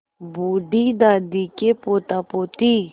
बूढ़ी दादी के पोतापोती